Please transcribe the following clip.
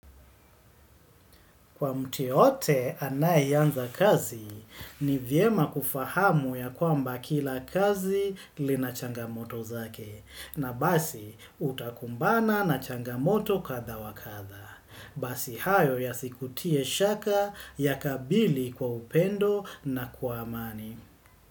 Kwa mtu yeyote anayeanza kazi ni vyema kufahamu ya kwamba kila kazi lina changamoto zake na basi utakumbana na changamoto kadhaa wakadhaa. Basi hayo yasikutie shaka yakabili kwa upendo na kwa amani.